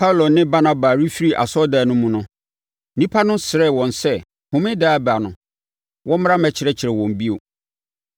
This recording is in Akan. Paulo ne Barnaba refiri asɔredan no mu no, nnipa no srɛɛ wɔn sɛ Homeda a ɛreba no, wɔmmra mmɛkyerɛkyerɛ wɔn bio.